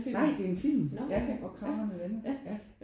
Nej det er en film ja ja Hvor kragerne vender ja